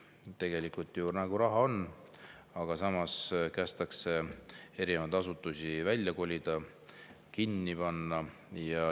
Tegelikult ju raha nagu on, aga samas kästakse erinevaid asutusi välja kolida, kinni panna.